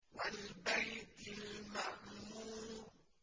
وَالْبَيْتِ الْمَعْمُورِ